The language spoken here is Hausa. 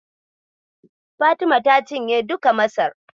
Fatima ta cinye duka Masar.